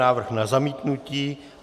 Návrh na zamítnutí.